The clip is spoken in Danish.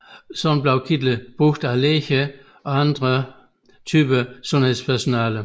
Ligeledes bliver kitler brugt af læger og visse andre typer sundhedspersonale